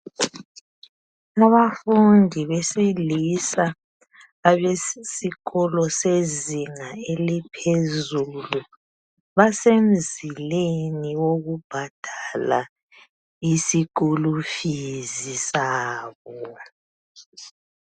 Abafundi besilisa abasesikolo sezinga e liphezulu basemzileni wokubhadala isikulufizi sabo